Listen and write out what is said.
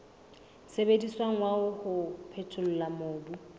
sebediswang wa ho phethola mobu